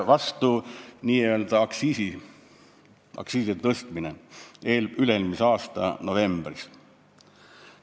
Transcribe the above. Kas mäletate, kuidas aktsiise tõsteti üle-eelmise aasta novembris?